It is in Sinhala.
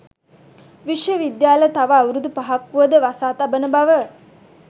විශ්ව විද්‍යාල තව අවුරුදු පහක් වුවද වසා තබන බව